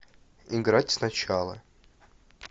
играть сначала